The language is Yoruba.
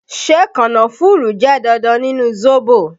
Ṣé kànnáfùrù jẹ́ dandan nínú zobo?